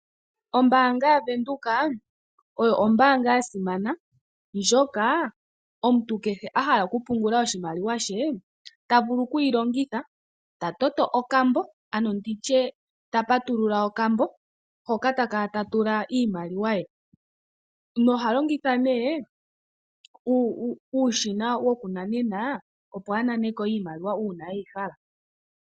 Ombaanga yaVenduka oyo ombaanga ya simana ndjoka omuntu kehe a hala oku pungula oshimaliwa she, ta vulu oku yi longitha, ta toto okambo ke, ano nditye ta patulula okambo, hoka ta kala ta tula iimaliwa ye noha longitha nee uushina woku nanena, opo a nane ko iimaliwa uuna eyi hala.